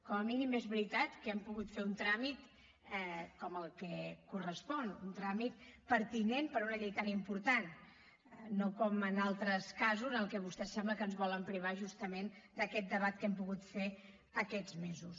com a mínim és veritat que hem pogut fer un tràmit com el que correspon un tràmit pertinent per a una llei tan important no com en altres casos en què vostès sembla que ens volen privar justament d’aquest debat que hem pogut fer aquests mesos